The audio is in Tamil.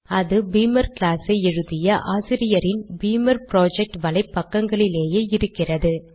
அது பீமர் கிளாஸ் ஐ எழுதிய ஆசிரியரின் பீமர் புரொஜெக்ட் வலைப் பக்கங்களிலேயே இருக்கிறது